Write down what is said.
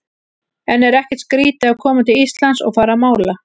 En er ekkert skrítið að koma til Íslands og fara að mála?